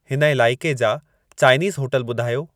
हिन इलाइक़े जा चाइनीज़ होटल ॿुधायो